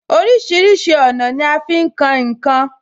Orísìírísìí ọ̀nà ni a fi ń kan ǹ kan